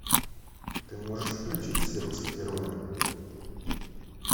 ты можешь включить сердце героя